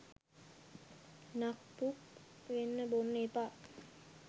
නක් පුක් වෙන්න බොන්න එපා